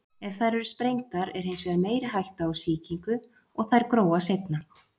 Ef þær eru sprengdar er hins vegar meiri hætta á sýkingu og þær gróa seinna.